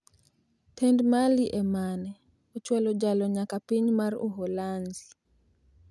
Tend Mali e mane ochwalo jalo nyaka piny mar Uholanzi.